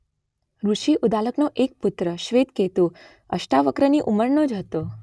ઋષિ ઉદાલકનો એક પુત્ર શ્વેતકેતુ અષ્ટાવક્રની ઉંમરનો જ હતો.